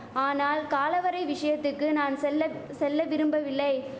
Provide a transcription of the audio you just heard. ஆனால் காலவரை விஷயத்துக்கு நான் செல்ல செல்ல விரும்பவில்லை